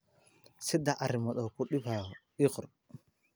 Saddex arrimood oo ku dhibaya ii qor.